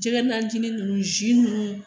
Jɛgɛ najinin nunnu zi nunnu